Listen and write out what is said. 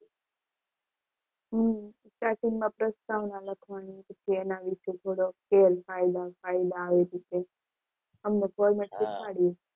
હમ starting માં પ્રસ્તાવના લખવાની હોય પછી એના વિશે થોડું ગેરફાયદા ફાયદા અમને કોઈ એને શીખવાડ્યું.